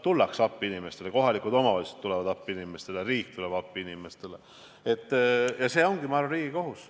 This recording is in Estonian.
Tullakse appi inimestele, kohalikud omavalitsused tulevad appi inimestele, riik tuleb appi inimestele, ja see ongi, ma arvan, riigi kohus.